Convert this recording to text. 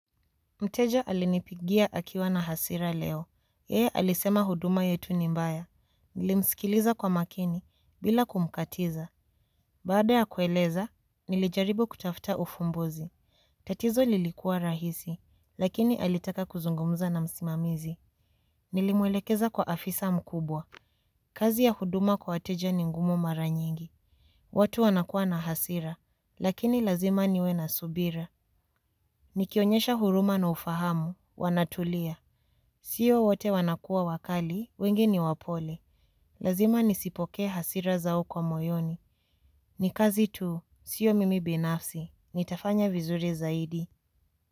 Mteja alinipigia akiwa na hasira leo, yeye alisema huduma yetu ni mbaya, nilimsikiliza kwa makini, bila kumkatiza. Baada ya kueleza, nilijaribu kutafta ufumbuzi. Tatizo lilikuwa rahisi, lakini alitaka kuzungumuza na msimamizi. Nilimwelekeza kwa afisa mkubwa. Kazi ya huduma kwa wateja ni ngumu mara nyingi. Watu wanakua na hasira, lakini lazima niwe na subira. Nikionyesha huruma na ufahamu, wanatulia. Sio wote wanakua wakali, wengi ni wapole. Lazima nisipokee hasira zao kwa moyoni. Ni kazi tu, sio mimi binafsi. Nitafanya vizuri zaidi.